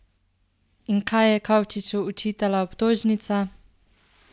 In kaj je Kavčiču očitala obtožnica?